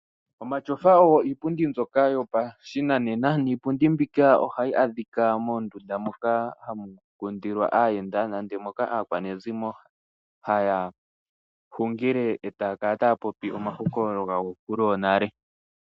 Omatyofa oyo iipundi mbyoka yopashinanena. Ohayi adhika moondunda moka hamu kundilwa aayenda nenge moka aakwanezimo haya hungile etaya kala taya popi omahokololo gonkulu yonale.